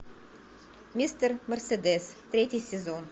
мистер мерседес третий сезон